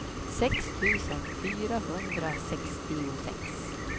sex tusen fyrahundrasextiosex